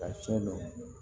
Ka tiɲɛ don